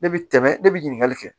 Ne bi tɛmɛ ne bi ɲininkali kɛ